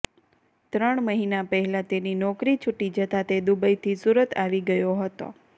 ત્રણ મહિના પહેલા તેની નોકરી છુટી જતા તે દુબઈથી સુરત આવી ગયો હતો